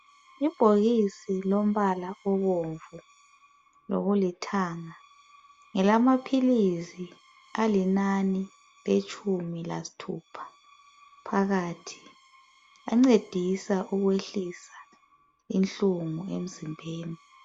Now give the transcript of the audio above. Ibhokisi lombala obomvu lokulithanga ngelamaphilisi alinani letshumi lasithupha phakathi. Ancedisa ukwehlisa inhlungu emzimbeni.